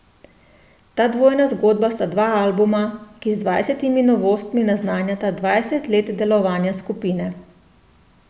Ta dvojna zgodba sta dva albuma, ki z dvajsetimi novostmi naznanjata dvajset let delovanja skupine.